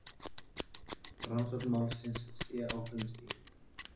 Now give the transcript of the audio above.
Rannsókn málsins sé á frumstigi